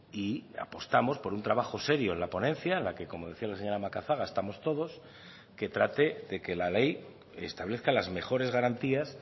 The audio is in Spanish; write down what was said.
y apostamos por un trabajo serio en la ponencia en la que como decía la señora macazaga estamos todos que trate de que la ley establezca las mejores garantías